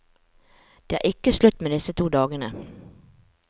Det er ikke slutt med disse to dagene.